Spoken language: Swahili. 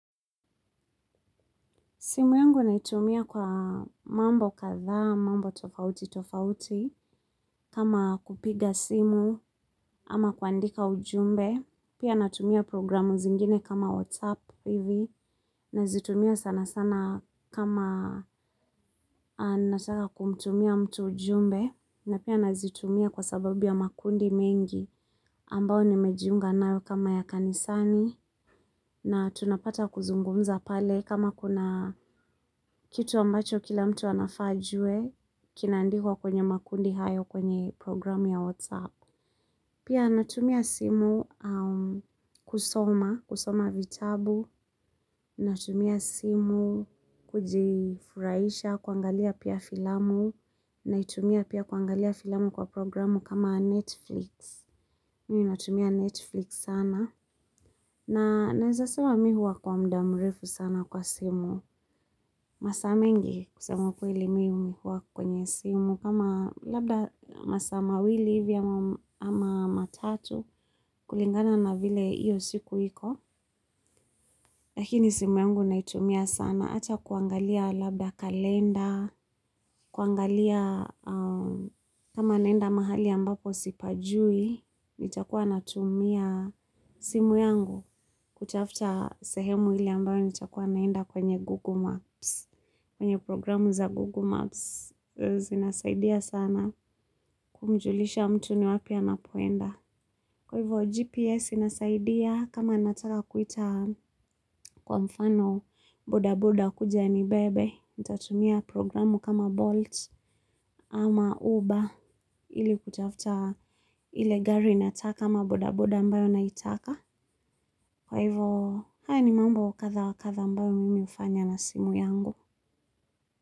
Simu yangu naitumia kwa mambo kathaa, mambo tofauti tofauti, kama kupiga simu, ama kuandika ujumbe, pia natumia programu zingine kama WhatsApp hivi, nazitumia sana sana kama nataka kumtumia mtu ujumbe, na pia nazitumia kwa sababu ya makundi mengi ambao nimejiunga nao kama ya kanisani, na tunapata kuzungumza pale kama kuna kitu ambacho kila mtu anafa ajue kinandikwa kwenye makundi hayo kwenye programu ya WhatsApp pia natumia simu kusoma, kusoma vitabu natumia simu kujifuraisha, kuangalia pia filamu naitumia pia kuangalia filamu kwa programu kama Netflix mimi natumia Netflix sana. Na naeza sema mi huwa kwa mda mrefu sana kwa simu. Masaa mengi kusema ukweli mimi huwa kwenye simu. Kama labda masaa mawili ivi ama matatu kulingana na vile iyo siku iko. Lakini simu yangu naitumia sana. Acha kuangalia labda kalenda, kuangalia kama naenda mahali ambapo sipajui, nitakuwa natumia simu yangu kutafta sehemu ili ambayo nitakuwa naenda kwenye Google Maps, kwenye programu za Google Maps. Zinasaidia sana kumjulisha mtu ni wapi anapoenda. Kwa hivo GPS inasaidia kama nataka kuita kwa mfano boda boda kuja anibebe nitatumia programu kama Bolt ama Uber. Ili kutafuta ile gari nataka kama boda boda ambayo naitaka. Kwa hivo haya ni mambo katha wa katha ambayo mimi hufanya na simu yangu.